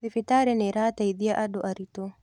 Thibitarĩnĩĩrateithia andũ arĩtũ.